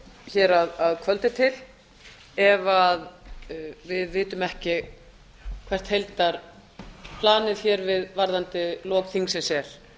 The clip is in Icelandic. hér að kvöldi til ef við vitum ekki hvert heildarplanið hér varðandi lok þingsins er